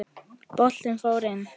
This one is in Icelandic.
Boltinn fór inn.